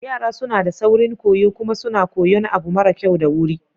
Yara suna da saurin koyo kuma suna koyan abu mara kyau da wuri.